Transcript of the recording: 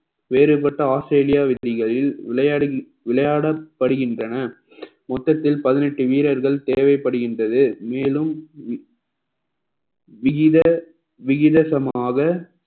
வேறுபட்ட ஆஸ்திரேலியா விதிகளில் விளையா~ விளையாடப்படுகின்றன மொத்தத்தில் பதினெட்டு வீரர்கள் தேவைப்படுகின்றது மேலும் விகித~ விகிதசமாக